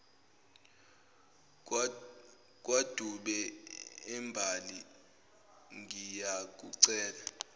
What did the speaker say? kwadube embali ngiyakucela